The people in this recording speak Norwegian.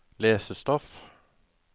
lesestoff